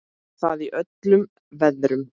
Og það í öllum veðrum.